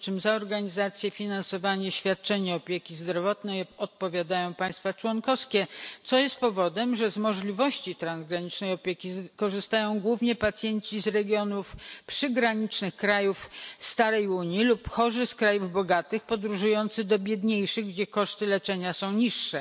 Przy czym za organizację, finansowanie i świadczenie opieki zdrowotnej odpowiadają państwa członkowskie, co powoduje, że z możliwości transgranicznej opieki korzystają głównie pacjenci z regionów przygranicznych krajów starej Unii lub chorzy z krajów bogatych, podróżujący do biedniejszych, gdzie koszty leczenia są niższe,